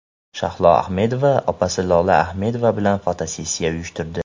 Shahlo Ahmedova opasi Lola Ahmedova bilan fotosessiya uyushtirdi.